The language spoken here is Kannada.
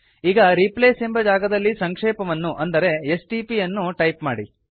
ಈಗ ರಿಪ್ಲೇಸ್ ಎಂಬ ಜಾಗದಲ್ಲಿ ಸಂಕ್ಷೇಪವನ್ನು ಅಂದರೆ ಎಸ್ಟಿಪಿ ಯನ್ನು ಟೈಪ್ ಮಾಡಿ